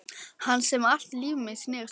Hans sem allt líf mitt snerist um.